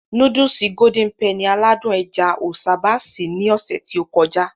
Núdùùsì "Golden Penny" aládùn ẹja o sábà sí ní ọsẹ ti o kọjá.